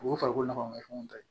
O ye farikolo nafa fɛnw ta